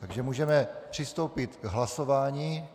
Takže můžeme přistoupit k hlasování.